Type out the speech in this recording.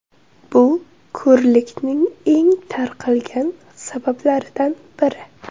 Bu ko‘rlikning eng tarqalgan sabablaridan biri.